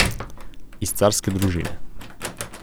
Iz carske družine.